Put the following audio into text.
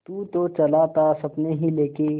तू तो चला था सपने ही लेके